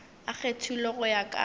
a kgethilwego go ya ka